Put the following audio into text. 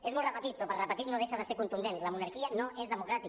és molt repetit però per repetit no deixa de ser contundent la monarquia no és democràtica